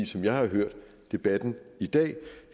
som jeg har hørt debatten i dag ej